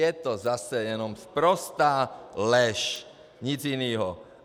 Je to zase jenom sprostá lež, nic jiného.